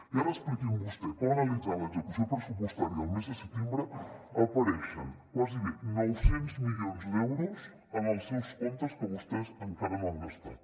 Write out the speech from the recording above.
i ara expliqui’m vostè com analitzant l’execució pressupostària del mes de setembre apareixen gairebé nou cents milions d’euros en els seus comptes que vostès encara no han gastat